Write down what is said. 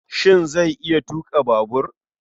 Shin zai iya tuƙa babur?